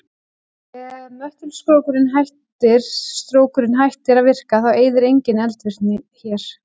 Ef möttulstrókurinn hættir að virka þá yrði engin eldvirkni hér.